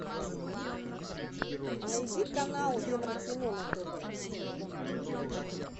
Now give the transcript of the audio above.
найди канал еврокино на тв